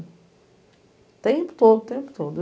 O tempo todo, o tempo todo.